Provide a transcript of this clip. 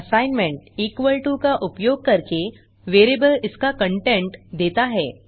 assignment equal to का उपयोग करके वेरिएबल इसका कंटेंट देता है